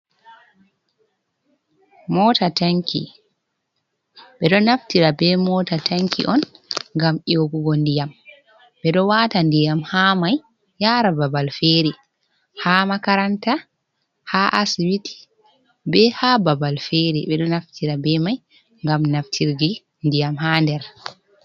Mota tanki. Ɓe ɗo naftira be mota tanki on ngam nyogugo ndiyam, ɓe ɗo waata ndiyam haa mai yaara babal feere, haa makaranta, haa asibiti, be haa babal feere. Ɓe ɗo naftira be mai ngam naftirdi ndiyam haa nder.